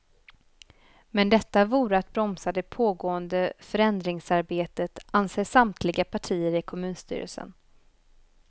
Men detta vore att bromsa det pågående förändringsarbetet, anser samtliga partier i kommunstyrelsen.